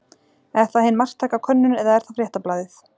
Er það hin marktæka könnun eða er það Fréttablaðið?